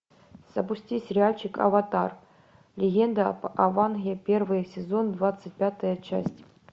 запусти сериальчик аватар легенда об аанге первый сезон двадцать пятая часть